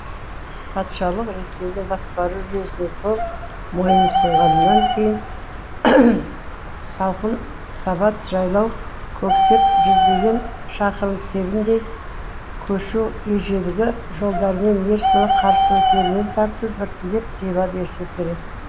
патшалық ресейдің басқару жүйесіне толық мойынұсынғаннан кейін салқын сабат жайлау көксеп жүздеген шақырым тебіндей көшу ежелгі жолдармен ерсілі қарсылы керуен тарту біртіндеп тыйыла берсе керек